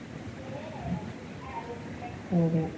நான் பக்கத்துல இருந்து எழுதிரிச்சத்தும் madam எழுதுடிச்சிடுவாங்க.